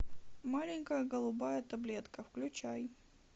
маленькая голубая таблетка включай